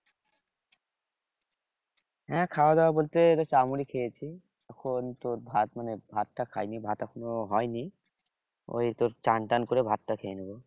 হ্যাঁ খাওয়া দাওয়া বলতে চাল মুড়ি খেয়েছি এখন তোর ভাত মানে ভাতটা খাইনি এখনো হয়নি ওই তোর চানটান করে ভাতটা খেয়ে নেব